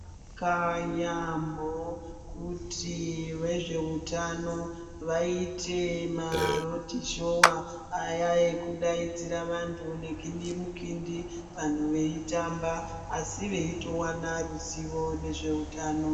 Zvakanaka yaamho kuti vezveutano vaite marodhishowa aya ekudaidzira vantu ngegindimukindi vantu veitamba. Asi veitovana ruzivo nezveutano.